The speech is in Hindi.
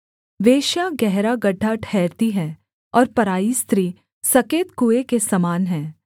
वेश्या गहरा गड्ढा ठहरती है और पराई स्त्री सकेत कुएँ के समान है